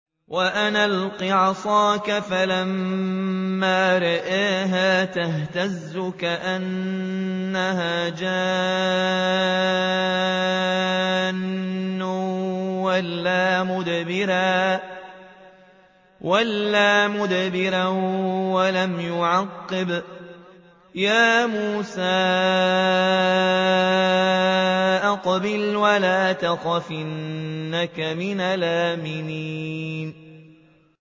وَأَنْ أَلْقِ عَصَاكَ ۖ فَلَمَّا رَآهَا تَهْتَزُّ كَأَنَّهَا جَانٌّ وَلَّىٰ مُدْبِرًا وَلَمْ يُعَقِّبْ ۚ يَا مُوسَىٰ أَقْبِلْ وَلَا تَخَفْ ۖ إِنَّكَ مِنَ الْآمِنِينَ